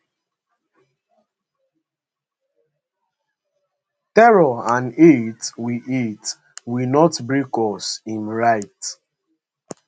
terror and hate will hate will not break us im write